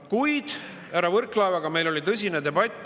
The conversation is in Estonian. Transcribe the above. Kuid härra Võrklaevaga meil oli tõsine debatt.